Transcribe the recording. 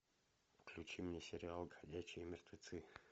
включи мне сериал ходячие мертвецы